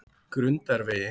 Grundarvegi